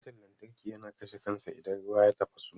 Butan lantarki yana kashe kansa idan ruwa ya tafasu.